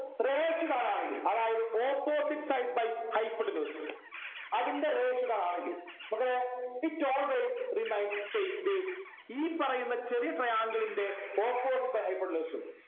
ratio കാണാൻ കയ്യും അതായത് opposite side by hypotenuse അതിൻ്റെ ratio കാണുവാണെങ്കിൽ മക്കളെ it always remain same base ഈ പറയുന്ന ചെറിയ triangle ൻ്റെ opposite by hypotenuse ഉം